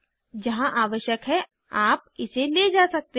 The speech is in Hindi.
जहाँ आवश्यक है आप इसे ले जा सकते हैं